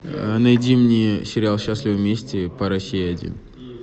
найди мне сериал счастливы вместе по россии один